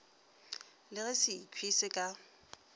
le ge sekhwi se ka